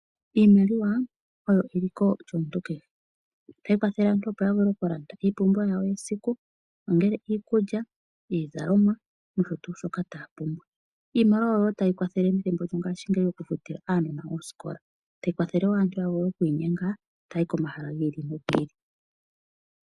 Iimaliwa oyo eliko lyomuntu kehe otayi kwathele aantu ya vule oku landa iipumbiwa yawo yesiku ongele iikulya, iizalomwa nosho tuu shoka taya pumbwa. Iimaliwa oyo taya yi kwathele methimbo lyongashingeyi oku futila aanona oosikola tayi kwathele wo aantu oku inyenga taya yi ko mahala gi ili nogi ili.